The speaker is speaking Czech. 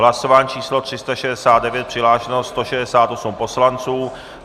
Hlasování číslo 369, přihlášeno 168 poslanců.